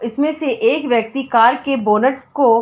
इसमें से एक व्यक्ति कार के बोनेट को--